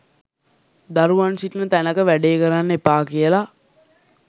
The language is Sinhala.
දරුවන් සිටින තැනක වැඩේ කරන්න එපා කියල.